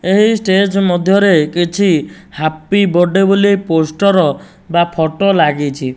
ଏହି ଷ୍ଟେଜ୍ ମଧ୍ୟରେ କିଛି ହାପି ବଡେ ବୋଲି ପୋଷ୍ଟର ବା ଫଟ ଲାଗିଛି।